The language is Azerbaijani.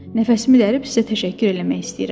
Nəfəsimi dərib sizə təşəkkür eləmək istəyirəm.